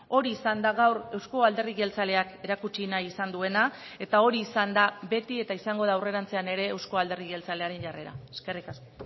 hori izan da gaur euzko alderdi jeltzaleak erakutsi nahi izan duena eta hori izan da beti eta izango da aurrerantzean ere euzko alderdi jeltzalearen jarrera eskerrik asko